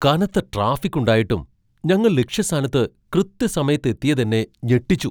കനത്ത ട്രാഫിക് ഉണ്ടായിട്ടും ഞങ്ങൾ ലക്ഷ്യസ്ഥാനത്ത് കൃത്യസമയത്ത് എത്തിയതെന്നെ ഞെട്ടിച്ചു!